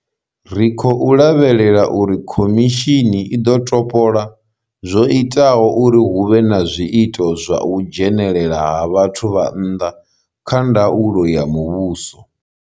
Ri khou lavhelela uri khomishini i ḓo topola zwo itaho uri hu vhe na zwiito zwa u dzhenelela ha vhathu vha nnḓa kha ndaulo ya muvhuso.